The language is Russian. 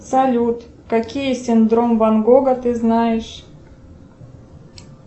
салют какие синдром ван гога ты знаешь